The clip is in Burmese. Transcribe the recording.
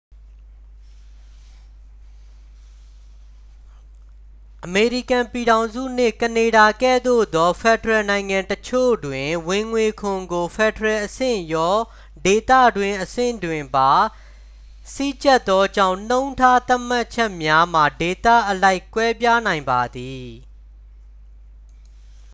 အမေရိကန်ပြည်ထောင်စုနှင့် ကနေဒါကဲ့သို့သော ဖက်ဒရယ်နိုင်ငံအချို့တွင် ဝင်ငွေခွန်ကို ဖက်ဒရယ်အဆင့်ရော ဒေသတွင်းအဆင့်တွင်ပါ စည်းကြပ်သောကြောင့် နှုန်းထားသတ်မှတ်ချက်များမှာ ဒေသအလိုက် ကွဲပြားနိုင်ပါသည်